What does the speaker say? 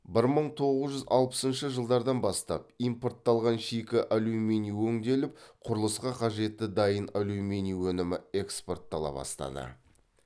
бір мың тоғыз жүз алпысыншы жылдардан бастап импортталған шикі алюминий өңделіп құрылысқа қажетті дайын алюминий өнімі экспорттала бастады